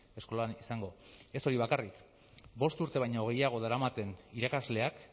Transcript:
eskolan izango ez hori bakarrik bost urte baino gehiago daramaten irakasleak